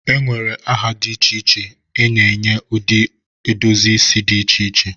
e nwere aha dị iche iche e nyere ụdị edozi isi dị iche iche